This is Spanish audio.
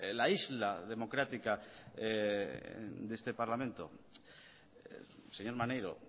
la isla democrática de este parlamento señor maneiro